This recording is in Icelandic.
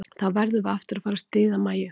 Þá verðum við aftur að fara að stríða Mæju.